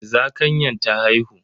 Zakanyan ta haihu.